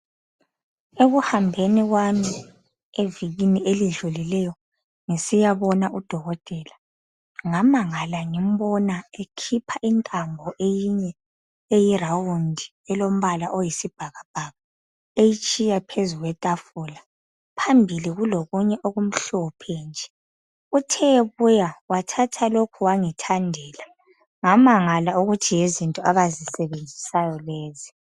Ekuhambeni kwami evikini elidlulileyo ngisiyabona udokotela ngamangala ngimbona ekhipha intambo eyiround elombala oyisibhakabhaka eyitshiya phezu kwetafula. Phambili kulokunye okumhlophe nje. Uthe ebuya wathatha lokhu wangithandela. Ngamangala ukuthi yizinto abazisebenzisayo lezi.